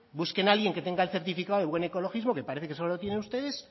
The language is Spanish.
busquen a alguien que tenga el certificado de buen ecologismo que parece que solo lo tienen ustedes